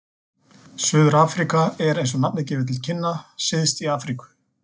Suður-Afríka er, eins og nafnið gefur til kynna, syðst í Afríku.